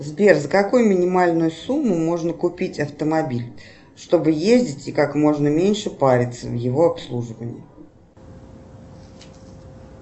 сбер за какую минимальную сумму можно купить автомобиль чтобы ездить и как можно меньше париться в его обслуживании